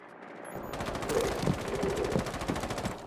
джой а я оля